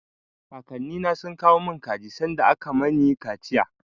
Kakannina sun kawo mun kaji sanda aka mani kaciya.